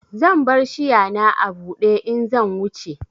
Zan bar shiya na a bude in zan wuce.